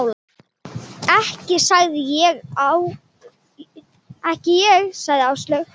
Ekki ég sagði Áslaug.